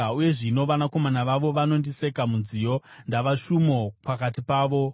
“Uye zvino vanakomana vavo vanondiseka munziyo; ndava shumo pakati pavo.